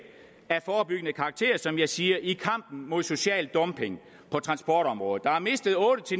af forebyggende karakter som jeg siger i kampen mod social dumping på transportområdet der er mistet otte